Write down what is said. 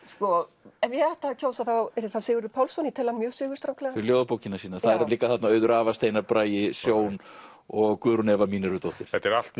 sko ef ég ætti að kjósa þá yrði það Sigurður Pálsson ég tel hann mjög sigurstranglegan fyrir ljóðabókina sína þau eru líka þarna Auður Ava Steinar Bragi Sjón og Guðrún Eva Mínervudóttir þetta eru allt